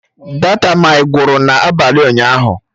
Data my gwụrụ n'abalị ụnyaahụ